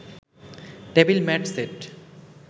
table mat set